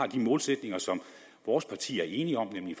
de målsætninger som vores parti er enige om nemlig